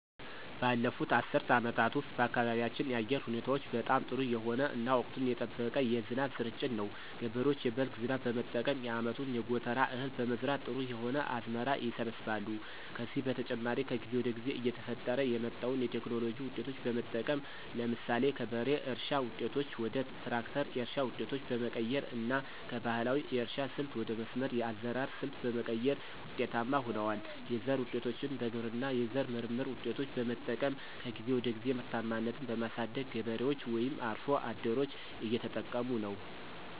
ባለፉት አስርት አመታት ውስጥ በአካባቢያችን የአየር ሁኔታዎች በጣም ጥሩ የሆነ እና ወቅቱን የጠበቀ የዝናብ ስርጭት ነው። ገበሬዎች የበልግ ዝናብ በመጠቀም የአመቱን የጎተራ እህል በመዝራት ጥሩ የሆነ አዝመራ ይሰበስባሉ። ከዚህ በተጨማሪ ከጊዜ ወደ ጊዜ እየተፈጠረ የመጣዉን የቴክኖሎጂ ዉጤቶች በመጠቀም ለምሳሌ ከበሬ እርሻ ዉጤቶች ወደ ትራክተር የእርሻ ዉጤቶች በመቀየር እና ከባህላዊ የእርሻ ስልት ወደ መስመር የአዘራር ሰልት በመቀየር ውጤታማ ሁነዋል። የዘር ዉጤቶችን በግብርና የዘር ምርምር ውጤቶች በመጠቀም ከጊዜ ወደ ጊዜ ምርታማነትን በማሳደግ ገበሬዎች ወይም አርሶ አደሮች እየተጠቀሙ ነው።